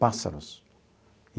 Pássaros.